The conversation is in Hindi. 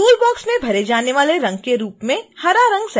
toolbox में भरे जाने वाले रंग के रूप में हरा रंग सेट करें